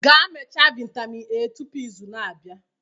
gaa mechaa vitamin A tupu izu na-abịa